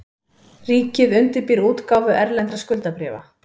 Ríkið undirbýr útgáfu erlendra skuldabréfa